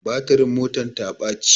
Batirin motar ta baci